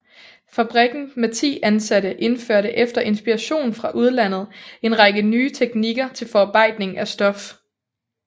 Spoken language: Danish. Fabrikken med 10 ansatte indførte efter inspiration fra udlandet en række nye teknikker til forarbejdning af stof